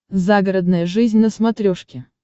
загородная жизнь на смотрешке